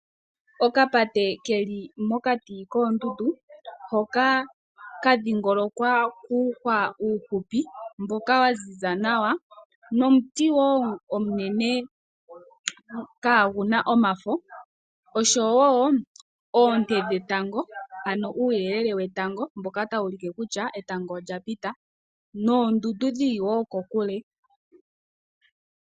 Okapate ke li mokati koondundu hoka ka dhingolokwa kuuhwa uufupi mboka wa ziza nawa nomuti wo omunene kaagu na omafo nooshowo oonte dhetango, ano uuyelele wetango mboka tawu ulike kutya etango olya pita noondundu dhi li wo kokule.